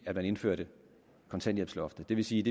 at man indførte kontanthjælpsloftet det vil sige